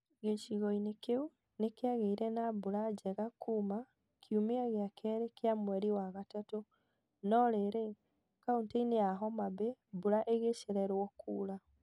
Gĩcigo-inĩ kĩu nĩ kiagĩire na mbura njega kuuma kiumia gĩa kerĩ kĩa mweri wa gatatũ; no rĩrĩ, kauntĩ-inĩ ya Homabay, mbura ĩgĩcererwo kura.